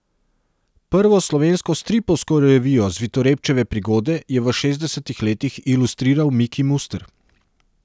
Prvo slovensko stripovsko revijo Zvitorepčeve prigode je v šestdesetih letih ilustriral Miki Muster.